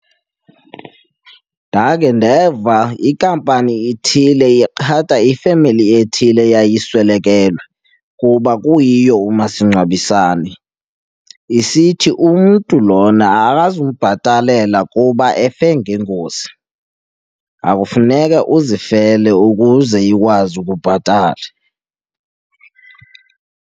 Ndakhe ndeva inkampani ethile iqhataa ifemeli ethile eyayiswelekelwe kuba kuyiyo umasingcwabisane isithi umntu lona akazubhatalela kuba efe ngengozi, akufuneke uzifele ukuze ikwazi ukubhatala.